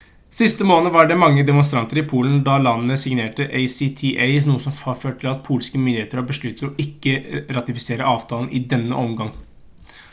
sist måned var det mange demonstrasjoner i polen da landet signerte acta noe som har ført til at polske myndigheter har besluttet å ikke ratifisere avtalen i denne omgang